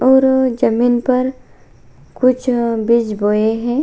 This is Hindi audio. और जमीन पर कुछ बीज बोए हैं।